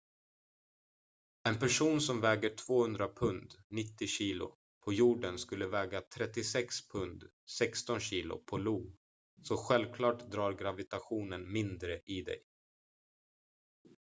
en person som väger 200 pund 90 kg på jorden skulle väga 36 pund 16 kg på io. så självklart drar gravitationen mindre i dig